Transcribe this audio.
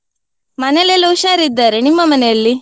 ಮನೆಲೆಲ್ಲಾ ಹುಷಾರಿದ್ದಾರೆ, ನಿಮ್ಮ ಮನೆಯಲ್ಲಿ?